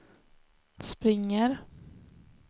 springer